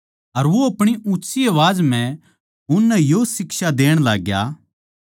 अर वो अपणी ऊँच्ची आवाज म्ह उननै यो शिक्षा देण लाग्या